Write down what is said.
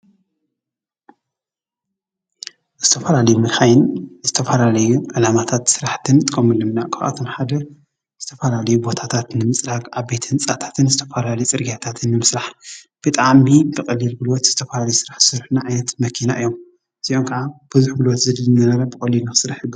ዝተፈላለዩ መካይን ንዝተፈላለዩ ዕላማታትን ስራሕትን እንጥቀመሎም ኢና ካብኣቶም ሓደ ዝተፈላለዩ ቦታታት ንምፅራግ ዓበይቲ ህንፃታትን ዝተፈላለዩ ፅርግያታትን ንምስራሕ ብጣዕሚ ብቀሊል ጉልበት ዝተፈላለየ ስራሕ ዝሰርሑልና መኪና እዮም፡፡ እዚኦም ከዓ ብዙሕ ጉልበት ዘድሊ ዝነበረ ብቀሊሉ ንክስራሕ ይገብሩ፡፡